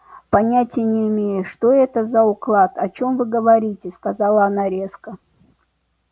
понятия не имею что это за уклад о чем вы говорите сказала она резко